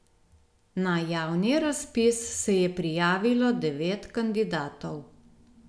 Na javni razpis se je prijavilo devet kandidatov.